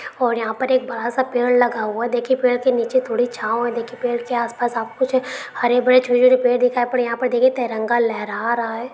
और यहां पर एक बड़ा सा पेड़ लगा हुआ है देखिए पेड़ के नीचे थोड़ी छांव है देखिए पेड़ के आसपास आपको कुछ हरे भरे छोटे-छोटे पेड़ दिखाई पड़ रहे यहां पर देखे तिरंगा लहरा रहा है।